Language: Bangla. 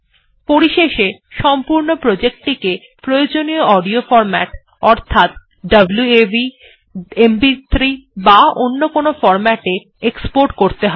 পরিশেষে সম্পূর্ণ প্রজেক্ট টিকে প্রয়োজনীয় অডিও ফরম্যাট অর্থাৎ ওয়াভ এমপি3 বা অন্য কোনো ফরম্যাট এ এক্সপোর্ট করতে হবে